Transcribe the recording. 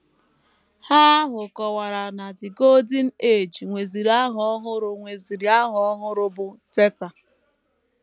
Ha ahụ kọwara na The Golden Age nweziri aha ọhụrụ nweziri aha ọhụrụ, bụ́ Teta!